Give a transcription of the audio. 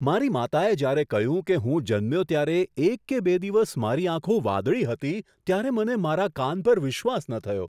મારી માતાએ જ્યારે કહ્યું કે જ્યારે હું જન્મ્યો ત્યારે એક કે બે દિવસ મારી આંખો વાદળી હતી ત્યારે મને મારા કાન પર વિશ્વાસ ન થયો.